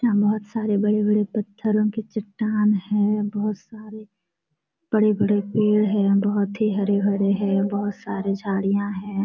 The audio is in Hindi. यहाँ बहुत सारे बड़े-बड़े पत्थरो के चट्टान है। बहुत सारे बड़े-बड़े पेड़ है बहुत ही हरे-भरे है। बहुत सारे झाड़िया है।